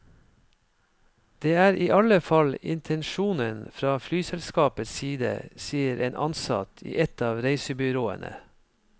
Det er i alle fall intensjonen fra flyselskapets side, sier en ansatt i et av reisebyråene.